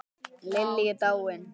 Lillý er dáin.